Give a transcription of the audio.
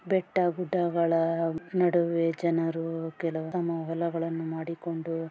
ಬೆಟ್ಟ ಗುಡ್ಡಗಳ ನಡುವೆ ಜನರು ಕೆಲವು ತಮ್ಮ ಹೊಲಗಳನ್ನು ಮಾಡಿಕೊಂಡು --